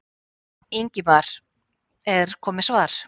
Ingimar: Er komið svar?